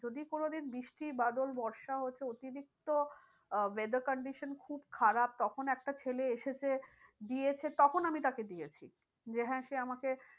যদি কোনো দিন বৃষ্টি বাদল বর্ষা হয়েছে অতিরিক্ত আহ weather condition খুব খারাপ তখন একটা ছেলে এসেছে, দিয়েছে তখন আমি তাকে দিয়েছি। যে হ্যাঁ সে আমাকে